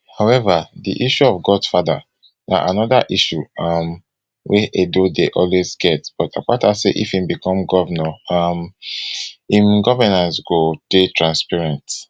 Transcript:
howeva di issue of godfather na anoda issue um wey edo dey always get but akpata say if e become govnor um im governance go dey transparent